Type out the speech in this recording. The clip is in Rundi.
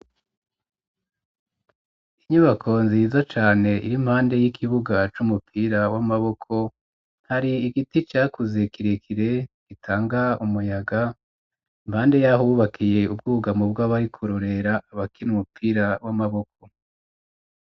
Inyubako nziza cane iri mpande y'ikibuga c'umupira w'amaboko hari igiti cakuze kirekire gitanga umuyaga impande yahubakiye ubwugamo bwa bari kurorera abakinyi b'umupira w'amaboko.